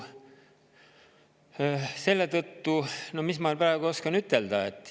No mis ma oskan ütelda?